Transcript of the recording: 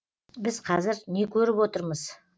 біз қазір не көріп отырмыз